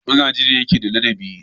Magaji ne yake da ladabi.